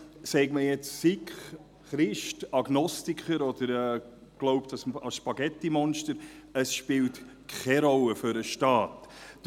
Sei man Sikh, Christ, Agnostiker oder glaube man an das Spaghetti-Monster: Das spielt für den Staat Rolle.